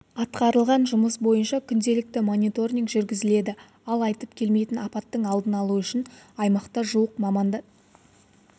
атқарылған жұмыс бойынша күнделікті мониторинг жүргізіледі ал айтып келмейтін апаттың алдын алу үшін аймақта жуық маман